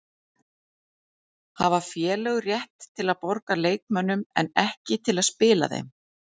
Hafa félög rétt til að borga leikmönnum en ekki til að spila þeim?